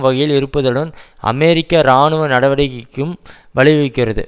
வகையில் இருப்பதுடன் அமெரிக்க இராணுவ நடவடிக்கைக்கும் வழிவகுக்கிறது